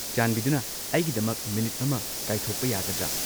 ꯆꯥꯟꯕꯤꯗꯨꯅ ꯑꯩꯒꯤꯗꯃꯛ ꯃꯤꯅꯤꯠ ꯑꯃ ꯀꯥꯏꯊꯣꯛꯄ ꯌꯥꯒꯗ꯭ꯔꯥ?